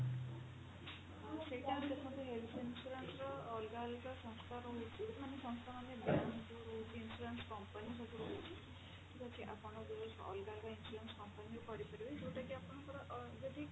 ସେଇଟା ଏବେ ଦେଖନ୍ତୁ health insurance ର ଅଲଗା ଅଲଗା ସଂସ୍ଥା ରହୁଛି ମାନେ ସଂସ୍ଥା ମାନେ bank ରହୁଛି insurance company ସବୁ ରହୁଛି ଠିକ ଅଛି ଆପଣ ଅଲଗା ଅଲଗା insurance company ରେ କରିପାରିବେ ଯୋଉଟା କି ଆପଣଙ୍କର ଅ ଯଦି